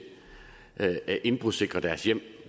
at indbrudssikre deres hjem